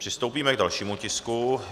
Přistoupíme k dalšímu tisku.